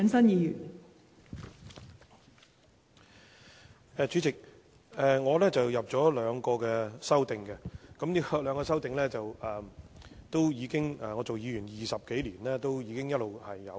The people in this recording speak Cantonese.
代理主席，我提出了兩項修正案，而這兩項修正案的要求是我擔任議員20多年來一直都有提出的。